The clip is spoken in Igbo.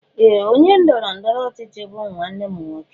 Ee! Onye ndọrọ ndọrọ ọchịchị bụ nwanne m nwoke.